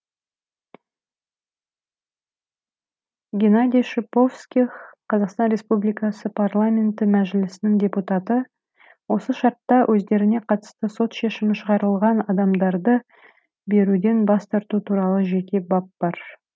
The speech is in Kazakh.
геннадий шиповских қазақстан республикасы парламенті мәжілісінің депутаты осы шартта өздеріне қатысты сот шешімі шығарылған адамдарды беруден бас тарту туралы жеке бап бар